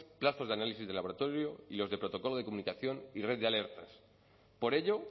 plazos de análisis de laboratorio y los de protocolo de comunicación y red de alertas por ello